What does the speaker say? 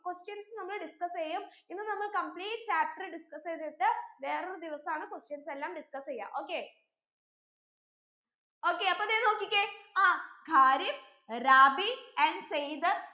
questions നമ്മൾ discuss എയ്യും ഇന്ന് നമ്മൾ complete chapter discuss എയ്തിട്ട് വേറെ ഒരു ദിവസാണ് questions എല്ലാം discuss എയ്യാ okay okay അപ്പൊ ദേ നോക്കിക്കേ ആഹ് ഖാരിഫ് റാബി and സയ്ദ്